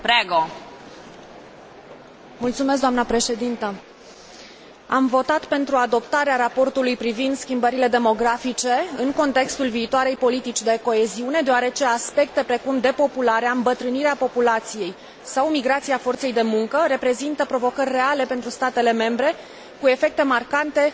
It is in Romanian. Am votat pentru adoptarea raportului privind schimbările demografice în contextul viitoarei politici de coeziune, deoarece aspecte precum depopularea, îmbătrânirea populației sau migrația forței de muncă reprezintă provocări reale pentru statele membre, cu efecte marcante în special asupra regiunilor europene.